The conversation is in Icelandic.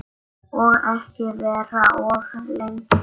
Og ekki vera of lengi.